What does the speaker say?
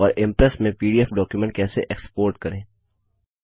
और इंप्रेस में PDF document कैसे एक्स्पोर्ट करें